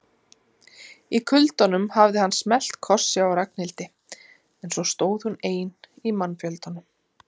Í kuldanum hafði hann smellt kossi á Ragnhildi en svo stóð hún ein í mannfjöldanum.